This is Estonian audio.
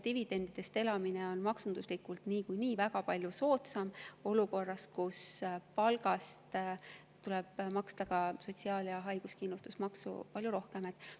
Dividendidest elamine on maksunduslikult niikuinii väga palju soodsam, kui palgast tuleb ka sotsiaal‑ ja haiguskindlustusmaksu palju rohkem maksta.